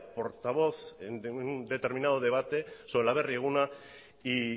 portavoz de un determinado debate sobre el aberri eguna y